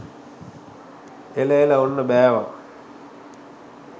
එල එල ඔන්න බෑවා